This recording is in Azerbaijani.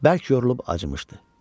Bərk yorulub acımışdı.